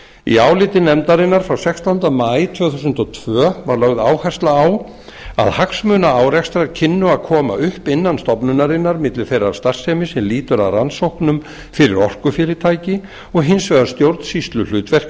í áliti nefndarinnar frá sextánda maí tvö þúsund og tvö var lögð áhersla á að hagsmunaárekstrar kynnu að koma upp innan stofnunarinnar milli þeirrar starfsemi sem lýtur að rannsóknum fyrir orkufyrirtæki og hins vegar stjórnsýsluhlutverksins